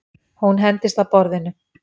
Hún hendist að borðinu.